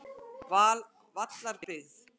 Vallarbyggð